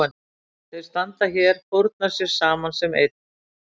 Þeir standa hér, fórna sér saman sem einn.